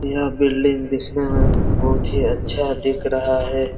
यह बिल्डिंग दिखने में बहुत ही अच्छा दिख रहा हैं।